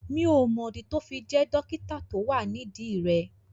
Mi ò mọ̀ dí tó fi jẹ́ dókítà tí ó wà nídìí rẹ̀